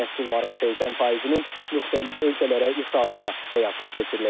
Məhsulların 80%-nin müxtəlif ölkələrə ixracı da həyata keçiriləcək.